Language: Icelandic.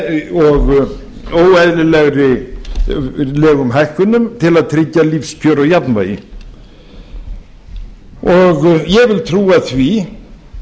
og óeðlilegum hækkunum til að tryggja lífskjör og jafnvægi ég vil trúa því